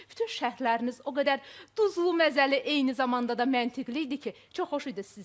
Bütün şərhləriniz o qədər duzlu, məzəli, eyni zamanda da məntiqli idi ki, çox xoş idi sizi izləmək.